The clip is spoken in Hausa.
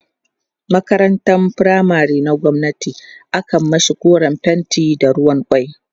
makarantan firamare na gwamnati akan mashi koren fenti da ruwan kwai